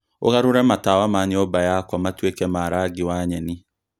ũgarũre matawa ma nyũmba yakwa matuĩke ma rangi wa nyeni